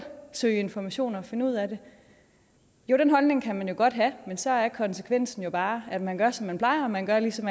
søge informationer og finde ud af det jo den holdning kan man jo godt have men så er konsekvensen bare at man gør som man plejer og man gør lige som